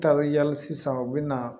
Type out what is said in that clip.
Taalen yali sisan u bɛ na